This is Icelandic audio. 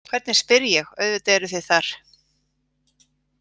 Hvernig spyr ég, auðvitað eruð þið þar.